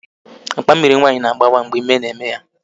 Akpa Mmịrị nwa ya gbawara mgbe ime na-eme ya